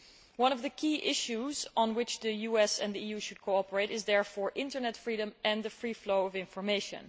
One of the key issues on which the US and the EU should cooperate is therefore internet freedom and the free flow of information.